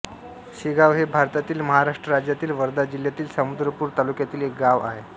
शेगाव हे भारतातील महाराष्ट्र राज्यातील वर्धा जिल्ह्यातील समुद्रपूर तालुक्यातील एक गाव आहे